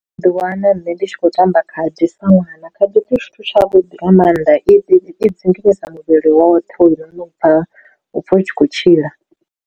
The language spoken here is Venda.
U ḓi wana nṋe ndi tshi khou tamba khadi sa ṅwana, khadi zwithu zwithu tshavhuḓi nga maanḓa i dzinginyisa muvhili woṱhe u no u pfha u pfha u tshi khou tshila.